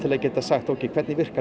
að geta sagt ókei hvernig virkar